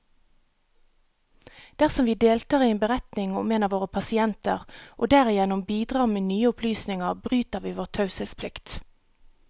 Dersom vi deltar i en beretning om en av våre pasienter, og derigjennom bidrar med nye opplysninger, bryter vi vår taushetsplikt.